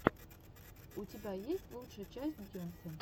у тебя есть лучшая часть бейонсе